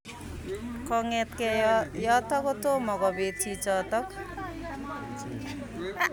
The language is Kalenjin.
Kongetkei yotok kotomo kobit chichotok.